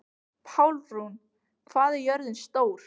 Pálrún, hvað er jörðin stór?